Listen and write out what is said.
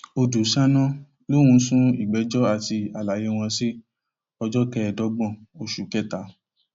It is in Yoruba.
ọdùṣáná lòún sún ìgbẹjọ àti àlàyé wọn sí ọjọ kẹẹẹdọgbọn oṣù kẹta